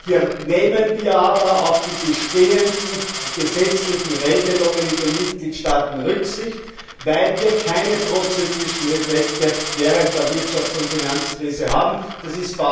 Hier nehmen wir aber auf die bestehenden gesetzlichen Regelungen in den Mitgliedstaaten Rücksicht, weil wir keine prozyklischen Effekte während der Wirtschafts und Finanzkrise haben wollen.